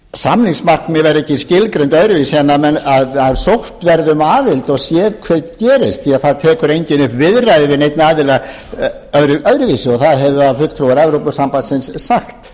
samningsmarkmið verða ekki skilgreind öðruvísi en að sótt verði um aðild og séð hvað gerist því að það tekur enginn upp viðræður við neinn aðila öðruvísi og það hafa fulltrúar evrópusambandinu sagt